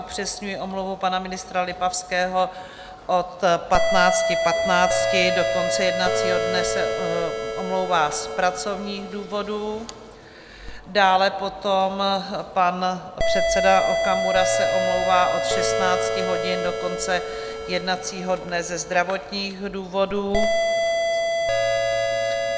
Upřesňuji omluvu pana ministra Lipavského - od 15.15 do konce jednacího dne se omlouvá z pracovních důvodů, dále potom pan předseda Okamura se omlouvá od 16 hodin do konce jednacího dne ze zdravotních důvodů.